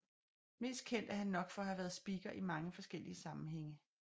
Mest kendt er han nok for at have været speaker i mange forskellige sammenhænge